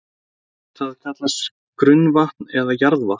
Það kallast grunnvatn eða jarðvatn.